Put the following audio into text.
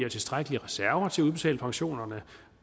og tilstrækkelige reserver til at udbetale pensionerne